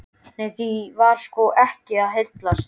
En því var sko ekki að heilsa.